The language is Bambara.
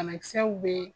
Banakisɛw bɛ yen